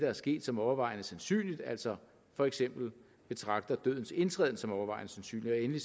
er sket som overvejende sandsynligt altså for eksempel betragter dødens indtræden som overvejende sandsynligt og endelig